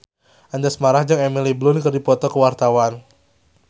Anjasmara jeung Emily Blunt keur dipoto ku wartawan